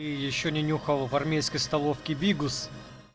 ещё не нюхал в армейской столовке бигус